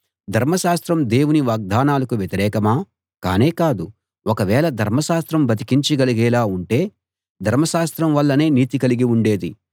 ధర్మశాస్త్రం దేవుని వాగ్దానాలకు వ్యతిరేకమా కానే కాదు ఒకవేళ ధర్మశాస్త్రం బతికించగలిగేలా ఉంటే ధర్మశాస్త్రం వల్లనే నీతి కలిగి ఉండేది